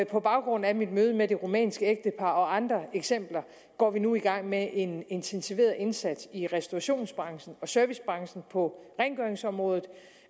på baggrund af mit møde med det rumænske ægtepar og andre eksempler går vi nu i gang med en intensiveret indsats i restaurationsbranchen og servicebranchen og på rengøringsområdet